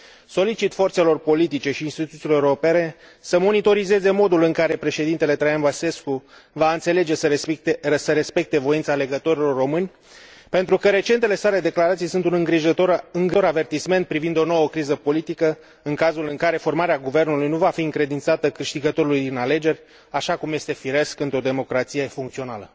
Solicit forțelor politice și instituțiilor europene să monitorizeze modul în care președintele Traian Băsescu va înțelege să respecte voința alegătorilor români, pentru că recentele sale declarații sunt un îngrijorător avertisment privind o nouă criză politică, în cazul în care formarea guvernului nu va fi încredințată câștigătorului în alegeri, așa cum este firesc într o democrație funcțională.